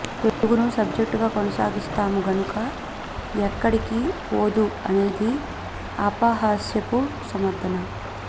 తెలుగును సబ్జెక్టుగా కొనసాగిస్తాము గనక ఎక్కడికి పోదు అనేది అపహాస్యపు సమర్థన